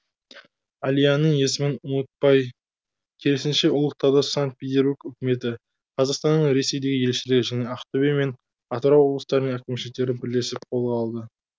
әлияның есімін ұмытпай керісінше ұлықтауды санкт петербург үкіметі қазақстанның ресейдегі елшілігі және ақтөбе мен атырау облыстарының әкімшіліктері бірлесіп қолға алды